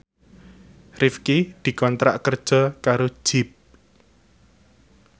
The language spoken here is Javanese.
Rifqi dikontrak kerja karo Jeep